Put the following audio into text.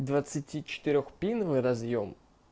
двадцати четырёх пиновый разъём